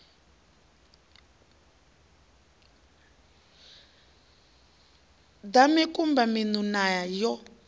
ḓa mikumba miṋu na yo